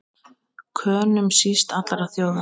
Könum síst allra þjóða!